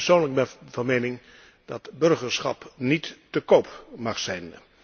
Ik persoonlijk ben van mening dat het burgerschap niet te koop mag zijn.